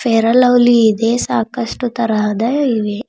Fair and Lovely ಇದೆ ಸಾಕಷ್ಟು ತರಹದ ಇವೆ.